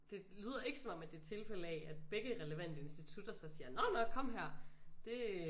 Det lyder ikke som om at det er tilfælde af at begge relevante institutter så siger nåh nåh kom her det